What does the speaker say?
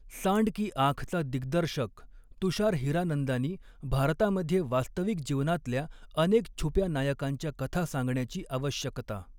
सांड की आँखचा दिग्दर्शक तुषार हिरानंदानी भारतामध्ये वास्तविक जीवनातल्या अनेक छुप्या नायकांच्या कथा सांगण्याची आवश्यकता